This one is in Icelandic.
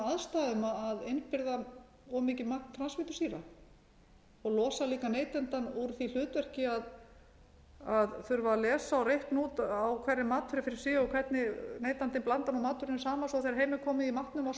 aðstæðum að innbyrða of mikið magn transfitusýra það losar líka neytandann úr því hlutverki að þurfa að lesa og reikna út á hverri matvöru fyrir sig og hvernig neytandinn blandar matvörunni saman þegar heim er